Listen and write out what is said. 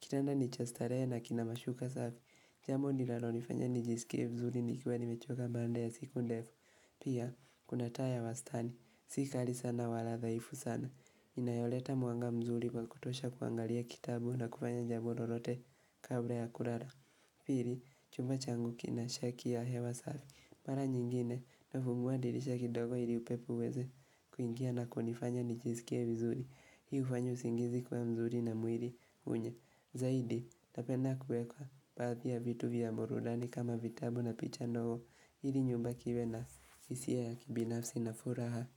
Kitanda ni cha starehe na kina mashuka safi. Jambo linalonifanya nijisikie vizuri nikiwa nimechoka baada ya siku ndefu. Pia, kuna taa ya wastani. Si kali sana wala dhaifu sana. Inayoleta mwanga mzuri wa kutosha kuangalia kitabu na kufanya jambo lolote kabla ya kulala Pili, chumba changu kina shaki ya hewa safi. Mara nyingine nafungua dirisha kidogo ili upepo uweze kuingia na kunifanya nijisikie vizuri. Hii hufanya usingizi kuwa mzuri na mwili unye Zaidi, napenda kueka baahhi ya vitu vya burudani kama vitabu na picha ndogo, hili chumba kiwe na hisia ya kibinafsi na furaha.